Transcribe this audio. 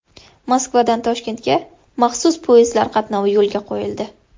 Moskvadan Toshkentga maxsus poyezdlar qatnovi yo‘lga qo‘yildi.